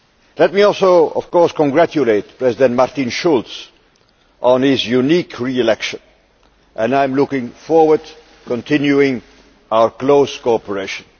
Let me also of course congratulate President Martin Schulz on his unique re election, and I am looking forward to continuing our close cooperation.